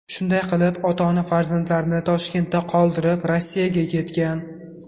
Shunday qilib, ota-ona farzandlarini Toshkentda qoldirib, Rossiyaga ketgan.